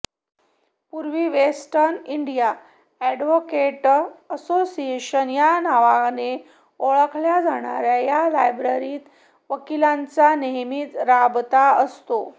पूर्वी Western India Advocate Association या नावाने ओळखल्या जाणाऱया या लायब्ररीत वकिलांचा नेहमीच राबता असतो